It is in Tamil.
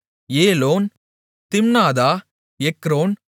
ஏலோன் திம்னாதா எக்ரோன்